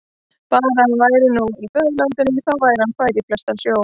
Bara að hann væri nú í föðurlandinu, þá væri hann fær í flestan sjó.